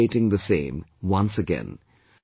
I am reiterating the same, once again